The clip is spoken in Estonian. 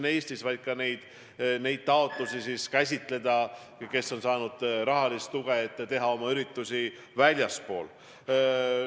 Nad tahavad ka nende taotlusi käsitleda, kes on saanud rahalist tuge, et teha oma üritusi väljaspool.